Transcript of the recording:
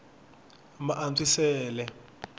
maantswisele